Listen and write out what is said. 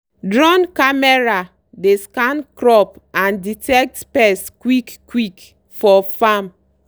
drone camera dey scan crop and detect pest quick-quick for farm.